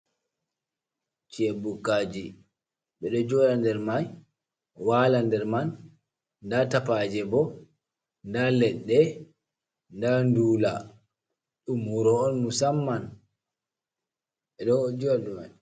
Ci'e bukkaji, ɓe ɗo joɗa der mai, wala der man, nda tapaje bo, nda leɗɗe, nda ndula, ɗum wuro on musamman, ɓe ɗo jouɗa dau mai.